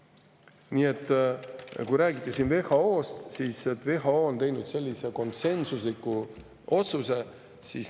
Siin räägiti WHO-st, et WHO on teinud sellise konsensusliku otsuse.